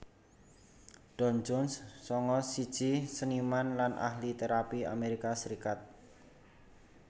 Don Jones sanga siji seniman lan ahli térapi Amerika Serikat